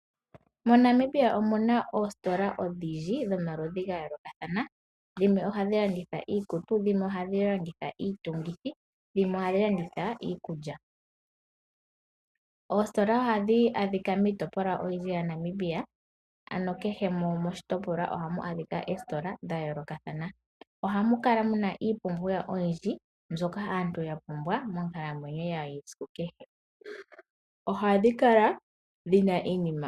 Mo Namibia omuna oositola odhindji dhomaludhi ga yoolokathana, dhimwe ohadhi landitha iikutu, dhimwe ohadhi landitha iitungithi, dhimwe ohadhi landitha iikulya. Oositola ohadhi adhika miitopolwa oyindji ya Namibia ano kehe moshitopolwa omuna oositola dha yoolokathana. Ohamu kala muna iipumbiwa oyindji mbyoka aantu ya pumbwa moonkalamwenyo yawo yesiku kehe. Ohadhi kala dhina iinima.